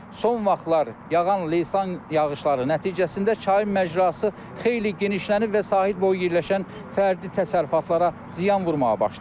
Son vaxtlar yağan leysan yağışları nəticəsində çay macrası xeyli genişlənib və sahil boyu yerləşən fərdi təsərrüfatlara ziyan vurmağa başlayıb.